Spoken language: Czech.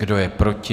Kdo je proti?